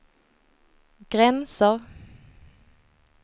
gränser